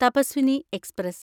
Tapaswini express